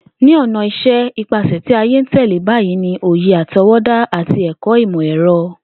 Ní o̩nà is̩é̩, ipasè̩ tí ayé ń tè̩lé bayìí ni òye àto̩wó̩dá àti è̩kó̩ imo è̩ro̩